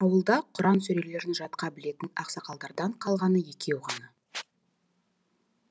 ауылда құран сүрелерін жатқа білетін ақсақалдардан қалғаны екеу ғана